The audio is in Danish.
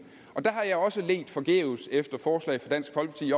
og der har jeg også ledt forgæves efter forslag fra dansk folkeparti